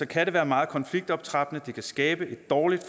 kan det være meget konfliktoptrappende det kan skabe et dårligt